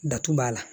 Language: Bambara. Datugu b'a la